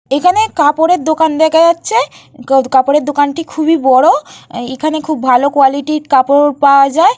এখানে কাপড়ের দোকান দেখা যাচ্ছে। ক কাপড়ের দোকানটি খুবই বড়। এখানে ভালো কোয়ালিটি কাপড় পাওয়া যায়।